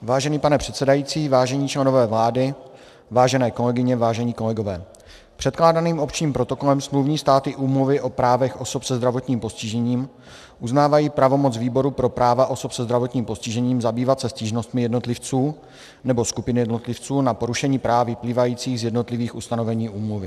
Vážený pane předsedající, vážení členové vlády, vážené kolegyně, vážení kolegové, předkládaným Opčním protokolem smluvní státy Úmluvy o právech osob se zdravotním postižením uznávají pravomoc Výboru pro práva osob se zdravotním postižením zabývat se stížnostmi jednotlivců nebo skupin jednotlivců na porušení práv vyplývajících z jednotlivých ustanovení úmluvy.